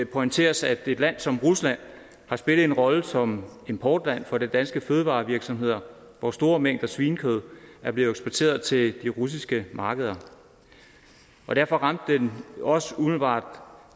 pointeres at et land som rusland har spillet en rolle som importland for danske fødevarevirksomheder hvor store mængder svinekød er blevet eksporteret til de russiske markeder derfor ramte det også umiddelbart